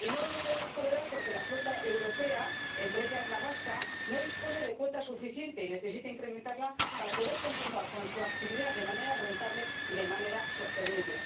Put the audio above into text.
Y no lo podemos tolerar porque la flota europea, entre la que se cuenta la vasca, no dispone de cuota suficiente y necesita incrementarla para poder continuar con su actividad de manera rentable y de manera sostenible.